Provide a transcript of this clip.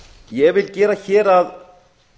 ég vil gera hér að